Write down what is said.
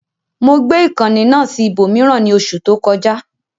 Mo gbé ìkànnì náà sí ibòmíràn ní oṣù tó kọjá